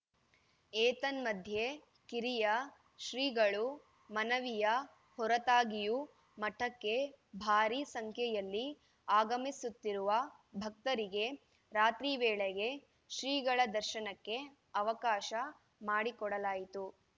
ಏತನ್ಮಧ್ಯೆ ಕಿರಿಯ ಶ್ರೀಗಳು ಮನವಿಯ ಹೊರತಾಗಿಯೂ ಮಠಕ್ಕೆ ಭಾರೀ ಸಂಖ್ಯೆಯಲ್ಲಿ ಆಗಮಿಸುತ್ತಿರುವ ಭಕ್ತರಿಗೆ ರಾತ್ರಿ ವೇಳೆಗೆ ಶ್ರೀಗಳ ದರ್ಶನಕ್ಕೆ ಅವಕಾಶ ಮಾಡಿಕೊಡಲಾಯಿತು